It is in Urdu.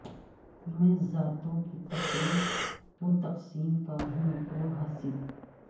میں ذاتوں کی تفریق و تقسیم کا ہوں وہ حاصل